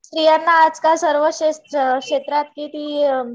स्त्रियांना आजकाल सर्व क्षेत्रात किती